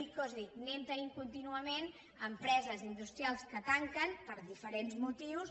és a dir anem tenint contínuament empreses industrials que tanquen per diferents motius